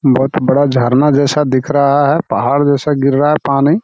बहूत बड़ा झरना जैसा दिख रहा है। पहाड़ जैसा गिर रहा है पानी।